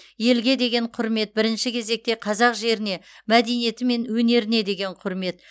елге деген құрмет бірінші кезекте қазақ жеріне мәдениеті мен өнеріне деген құрмет